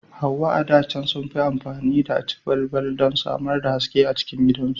Hauwa a da can sun fi ammafi da aci balbal don samar da haske a gidajensu.